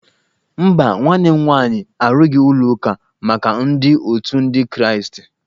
Mba, nwanne m nwaanyị arụghị ụlọ ụka maka ndị otu ndi kraastị